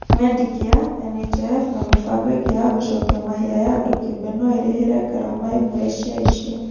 Medicare, NHIF na mĩbango ĩngĩ ya gũcokia mahia ya andũ kĩũmbe no ĩrĩhĩre ngarama imwe cia icio.